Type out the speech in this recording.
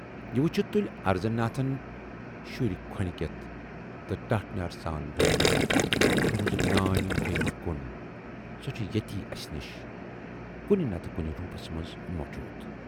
یہِ وُچھِتھ تُلۍ اَرزن ناتھن شُرۍ کھۅنہِ کٮ۪تھ تہٕ ٹاٹھِنیرِ سان وونَنکھ"تُہٕنز نانۍ گٔیہِ نہٕ کُن، سۅ چھِ ییتی اَسہِ نِشہِ کُنہِ نَتہٕ کُنہِ روٗپس منز موٗجوٗد